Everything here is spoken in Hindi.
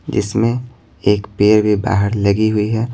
जिसमें एक पेर भी बाहर लगी हुई है।